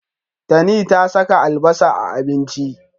Tani ta saka albasa a abinci.